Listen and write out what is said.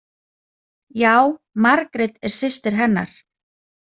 Já, Margrét er systir hennar.